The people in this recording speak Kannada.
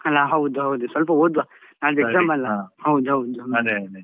ಅಲ್ಲಾ ಹೌದು ಹೌದು ಸ್ವಲ್ಪ ಓದುವ ನಾಡ್ದು exam ಅಲ್ಲ.